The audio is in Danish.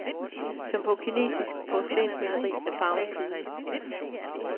Som på kinesisk porcelænsmaleri er farven flydende.